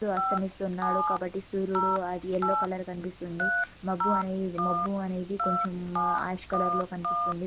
సూర్యుడు అస్తమిస్తున్నాడు కాబట్టి సూర్యుడు అది ఎల్లో కలర్ కనిపిస్తుంది మబ్బు అని మబ్బు అనేది కొంచం ఆష్ కలర్ లో కనిపిస్తుంది.